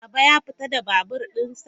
Baba ya fita da babur dinsa?